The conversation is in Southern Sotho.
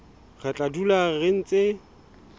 re tla dula re ntse